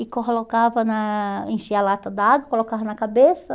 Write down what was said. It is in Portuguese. E colocava na, enchia a lata d'água, colocava na cabeça.